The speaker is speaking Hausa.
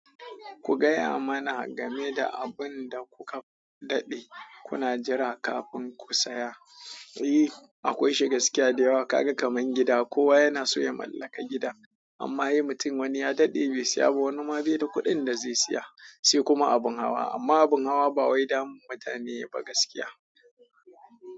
Ku gaya mana game da abin da kuka daɗe kuna jira kafin ku saya. E! Akwai shi gaskiya da yawa. Kaga kamar gida, kowa yana so ya mallaka gida. Amma he mutum wani ya daɗe bai saya ba, wani ma bai da kuɗin da zai saya, sai kuma abin hawa. Amma abin hawa ba wai damun mutane yayi ba gaskiya.